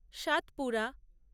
Satpura